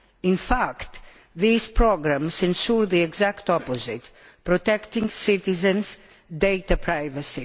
In fact these programmes ensure the exact opposite, protecting citizens' data privacy.